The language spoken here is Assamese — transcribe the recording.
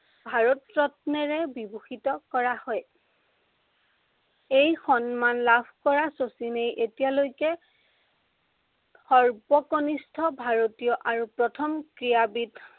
ভাৰতৰত্নেৰে বিভূষিত কৰা হয়। এই সন্মান লাভ কৰা শচীনেই এতিয়ালৈকে সৰ্বকনিষ্ঠ ভাৰতীয় আৰু প্ৰথম ক্ৰীড়াবীদ